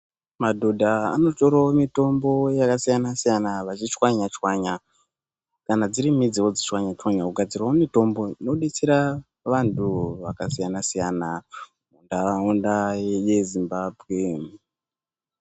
Madhodha anotorawo mitombo yakasiyanasiyana vachichwanyachwayna kana dziri midzi vodzi chwanyachwanya kugadzirawo mitombo inobetsera vanhu vakasiyanasiyana munharaunda yeZimbabwe.